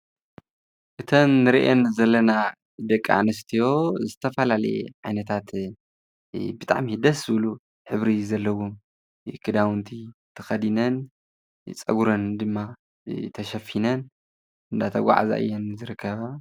እተን ንርእየን ዘለና ደቂ ኣንስትዮ ዝተፈላለየ ዓይነታት ብጣዕሚ ደስ ዝብሉ ሕብርታት ዘለዎም ክዳዉንቲ ተከዲነን ፀጉረን ድማ ተሸፊነን እናተጓዓዛ እየን ዝርከባ ።